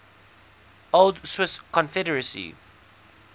old swiss confederacy